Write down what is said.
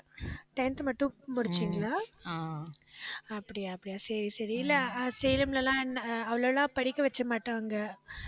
tenth மட்டும் படிச்சீங்களா அப்படியா, அப்படியா, சரி, சரி. இல்லை ஆஹ் சேலம்ல எல்லாம் அவ்வளோ எல்லாம் படிக்க வைக்க மாட்டாங்க.